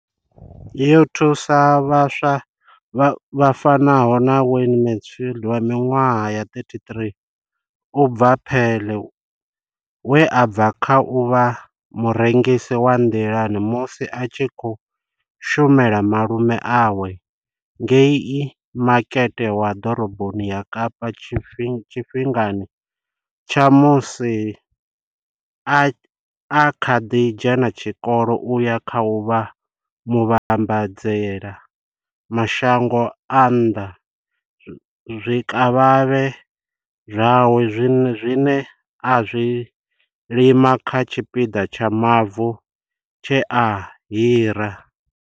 Yo thusa vhaswa vha fanaho na Wayne Mansfield wa minwaha ya, 33, u bva Paarl, we a bva kha u vha murengisi wa nḓilani musi a tshi khou shumela malume awe ngei Makete wa Ḓoroboni ya Kapa tshifhingani tsha musi a kha ḓi dzhena tshikolo u ya kha u vha muvhambadzela mashango a nnḓa zwikavhavhe zwawe zwine a zwi lima kha tshipiḓa tsha mavu tshe a hira.